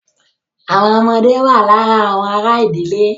Àwọn ọmọdé wà lára àwọn ará ìdílé.